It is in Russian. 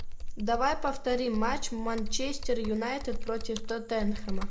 давай повторим матч манчестер юнайтед против тоттенхэма